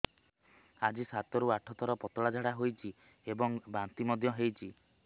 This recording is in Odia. ଆଜି ସାତରୁ ଆଠ ଥର ପତଳା ଝାଡ଼ା ହୋଇଛି ଏବଂ ବାନ୍ତି ମଧ୍ୟ ହେଇଛି